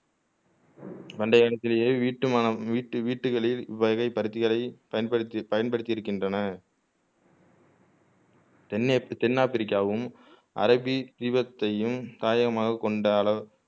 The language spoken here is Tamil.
பண்டைய காலத்திலயே வீட்டுமன வீட்டு வீட்டுகளில் இவை பருத்திகளை பயன்படுத்தி பயன்படுத்தி இருக்கின்றன தென்மேற் தென் ஆப்பிரிக்காவும் அரபி தீபெத்தையும் தாயகமாகக் கொண்ட அளவ்